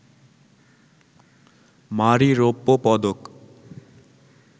মারি রৌপ্য পদক